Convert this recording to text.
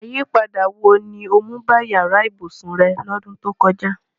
Àyípadà wo ni o mu ba yàra ibùsùn re lọ́dún to kojá?